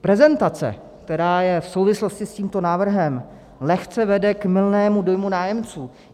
Prezentace, která je v souvislosti s tímto návrhem, lehce vede k mylnému dojmu nájemců.